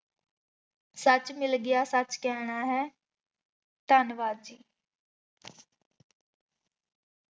ਸੱਚ ਮਿਲ ਗਿਆ ਸੱਚ ਕਹਿਣਾ ਹੈ ਧੰਨਵਾਦ ਜੀ।